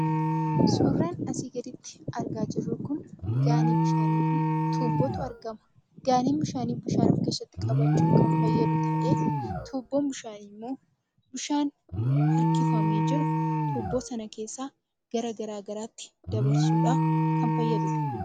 Suuraan asii gaditti argaa jirru Kun, gaanii bishaanii fi tuubbootu argama. Gaaniin bishaanii bishaan of keessatti qabachuuf kan fayyadu ta'ee tuubboon bishaanii immoo bishaan harkifamee jiru tuubboo sana keessa gara garaagaraatti dabarsuudhaaf kan fayyadudha.